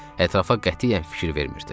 Ətrafa qətiyyən fikir vermirdi.